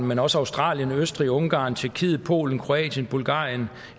men også australien østrig ungarn tjekkiet polen kroatien bulgarien